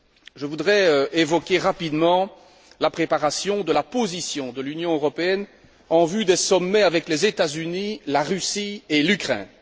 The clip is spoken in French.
Je voudrais évoquer rapidement la préparation de la position de l'Union européenne en vue des sommets avec les États Unis, la Russie et l'Ukraine.